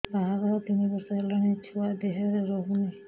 ବାହାଘର ତିନି ବର୍ଷ ହେଲାଣି ଛୁଆ ଦେହରେ ରହୁନି